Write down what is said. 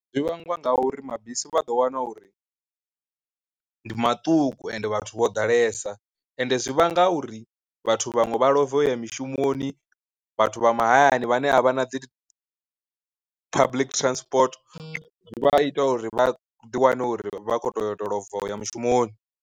Zwi vhangwa nga uri mabisi vha ḓo wana uri ndi maṱuku ende vhathu vho ḓalesa ende zwi vhanga uri vhathu vhaṅwe vha ḽova uya mishumoni, vhathu vha mahayani vhane a vha na dzi public transport vha ita uri vha ḓi wane uri vha khou toyota lova uya mushumoni.